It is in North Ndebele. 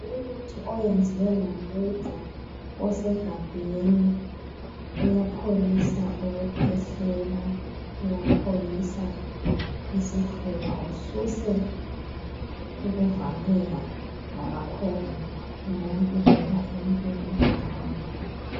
Umuthi oyenziwe ngoluju osegabheni uyapholisa ukukhwehlela ,uyapholisa isifuba ususe ukuvaleka lamakhovula emuntwini loba emuntwini omdala.